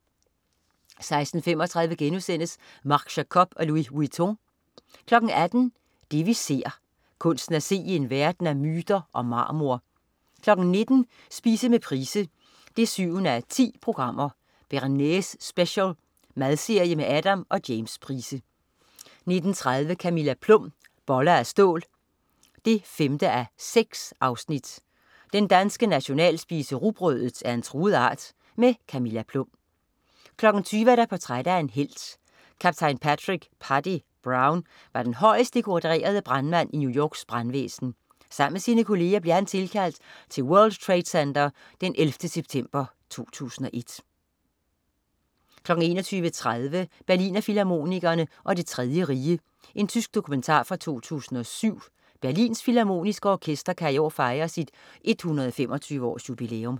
16.35 Marc Jacobs & Louis Vuitton* 18.00 Det vi ser. Kunsten at se i en verden af myter og marmor 19.00 Spise med Price 7:10. "Bearnaise Special". Madserie med Adam og James Price 19.30 Camilla Plum. Boller af stål 5:6. Den danske nationalspise, rugbrødet, er en truet art. Camilla Plum 20.00 Portræt af en helt. Kaptajn Patrick "Paddy" Brown var den højest dekorerede brandmand i New Yorks brandvæsen. Sammen med sine kolleger blev han tilkaldt til World Trade Center den 11. september 2001 21.30 Berlinerfilharmonikerne og Det Tredje Rige. Tysk dokumentar fra 2007. Berlins Filharmoniske Orkester kan i år fejre sit 125-års-jubilæum